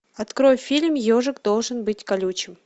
открой фильм ежик должен быть колючим